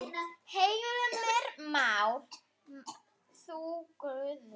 Heimir Már: En þú Guðjón?